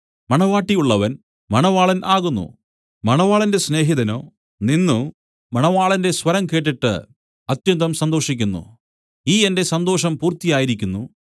മണവാട്ടി ഉള്ളവൻ മണവാളൻ ആകുന്നു മണവാളന്റെ സ്നേഹിതനോ നിന്നു മണവാളന്റെ സ്വരം കേട്ടിട്ട് അത്യന്തം സന്തോഷിക്കുന്നു ഈ എന്റെ സന്തോഷം പൂർത്തിയായിരിക്കുന്നു